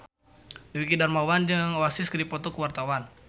Dwiki Darmawan jeung Oasis keur dipoto ku wartawan